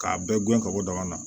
K'a bɛɛ guɲɛ ka bɔ dama na